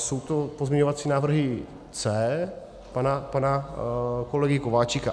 Jsou to pozměňovací návrhy C pana kolegy Kováčika.